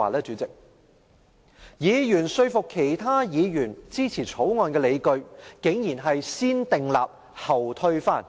這些議員賴以說服其他議員支持《條例草案》的理據，竟然是"先訂立後推翻"。